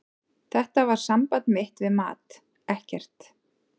Þetta var samband mitt við mat, ekkert.